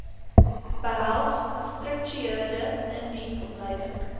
behels gestruktureerde indiensopleiding